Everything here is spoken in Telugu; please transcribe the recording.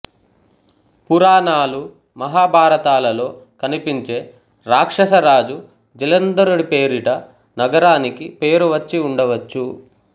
పురాణాలు మహాభారతాలలో కనిపించే రాక్షస రాజు జలంధరుడి పేరిట నగరానికి పేరు వచ్చి ఉండవచ్చు